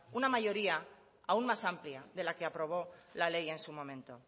una mayoría aún más amplia de la que aprobó la ley en su momento